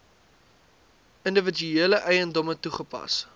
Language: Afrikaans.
individuele eiendomme toegepas